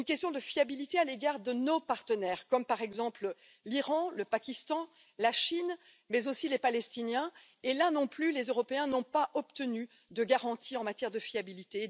De même, à l'égard de nos partenaires, comme par exemple l'Iran, le Pakistan, la Chine, mais aussi les Palestiniens là non plus, les Européens n'ont pas obtenu de garantie en matière de fiabilité.